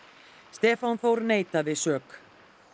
Stefán Þór neitaði sök